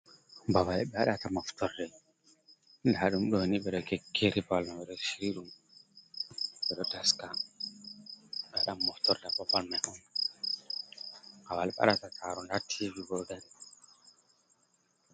Ɓaba ɓe wadata moftorde nda ɗum ɗo ni ɓe ɗo kekkeri ɓabal mai ɓeɗo shiryi ɗum, ɓeɗo taska ɓe wadan moftorde ha bapal mai on ɓabal ɓe waɗata taro, nda tivi bo dari.